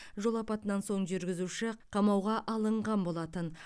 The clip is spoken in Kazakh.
жол апатынан соң жүргізуші қамауға алынған болатын